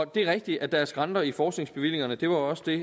det er rigtigt at der er skrænter i forskningsbevillingerne det var også det